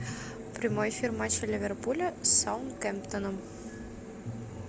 прямой эфир матча ливерпуля с саутгемптоном